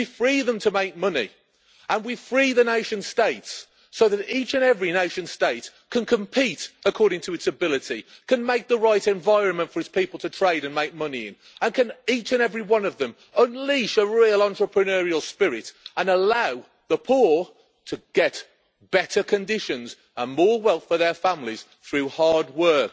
We free them to make money, and we free the nation states so that each and every nation state can compete according to its ability, can make the right environment for its people to trade and make money in, and can each and every one of them unleash a real entrepreneurial spirit and allow the poor to get better conditions and more wealth for their families through hard work.